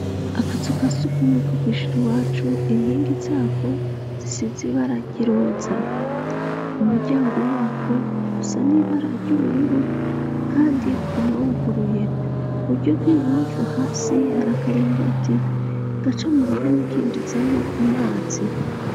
Akazu ka sugumwe ko kw'ishure iwacu inkingi zako zisize ibara ryiroza umuryango wako usa nibara ry'ubururu kandi uguma wuguruye uburyo bw'ibubamfu hasi hari akaringoti gaca mu ruhome kinjizamwo amazi.